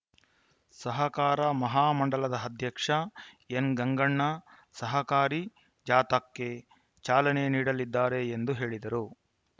ಸಹಕಾರ ಮಹಾ ಮಂಡಳದ ಅಧ್ಯಕ್ಷ ಎನ್‌ಗಂಗಣ್ಣ ಸಹಕಾರಿ ಜಾಥಾಕ್ಕೆ ಚಾಲನೆ ನೀಡಲಿದ್ದಾರೆ ಎಂದು ಹೇಳಿದರು